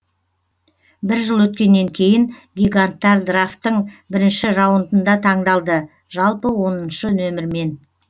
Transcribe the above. бір жыл өткеннен кейін гиганттар драфтын бірінші раундында таңдалды жалпы оныншы нөмірмен